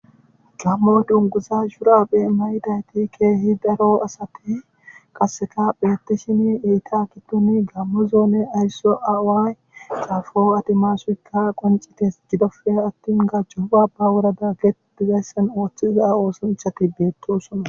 Gamo dunguza shuraabe maydayti keehi daro asati qasikka oothishenne iza gidonkka gaamo zoone aaway tesfay adimasay ikka gacco baba gidon ootiza osanchati beetosona.